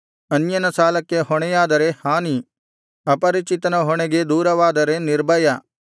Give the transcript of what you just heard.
ಅನ್ಯನ ಸಾಲಕ್ಕೆ ಹೊಣೆಯಾದರೆ ಹಾನಿ ಅಪರಿಚಿತನ ಹೊಣೆಗೆ ದೂರವಾದರೆ ನಿರ್ಭಯ